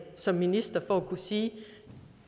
som minister for at sige at